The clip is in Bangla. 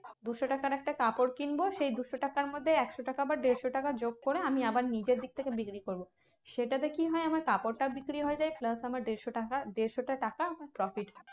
দুশো টাকার একটা কাপড় কিনবো সেই দুশো টাকার মধ্যে একশো টাকা বা দেড়শো টাকা যোগ করে আমি আবার নিচের দিকথেকে বিক্রি করবো। সেটাতে কি হয়? আমার কাপড়টা বিক্রি হয়ে যায় plus আমার দেড়শো টাকা দেড়শোটা টাকা profit.